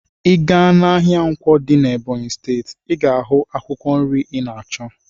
Ị gaa n'ahịa Nkwo dị n'Ebọnyị steeti, ị ga-ahụ akwụkwọ nri ị na-achọ.